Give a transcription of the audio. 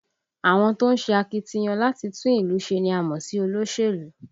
Àwọn tó ń ṣe akitiyan láti tún ìlú ṣe ni a mọ̀ sí olóṣèlú